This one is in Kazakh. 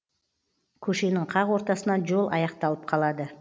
көшенің қақ ортасынан жол аяқталып қалады